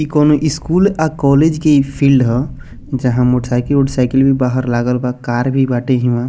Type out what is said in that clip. इ कोनो स्कूल अ कॉलेज की फील्ड ह जहाँ मोटर साइकिल उटर साइकिल भी बाहर लागल बा कार भी बाटे हिवां।